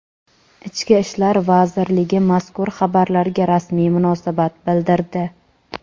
Ichki ishlar vazirligi mazkur xabarlarga rasmiy munosabat bildirdi.